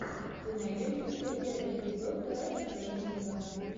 ты найдешь у себя первый эпизод крэшрэйсинга